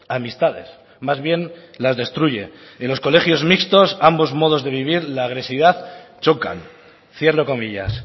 amistades más bien las destruye en los colegios mixtos ambos modos de vivir la agresividad chocan cierro comillas